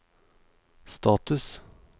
status